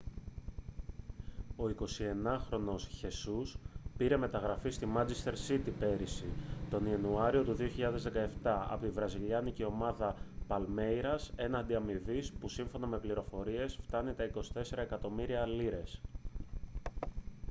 ο 21χρονος χεσούς πήρε μεταγραφή στη μάντσεστερ σίτι πέρυσι τον ιανουάριο του 2017 από τη βραζιλιάνικη ομάδα παλμέιρας έναντι αμοιβής που σύμφωνα με πληροφορίες φτάνει τα 27 εκατομμύρια λίρες